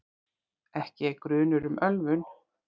Ekki er grunur um ölvun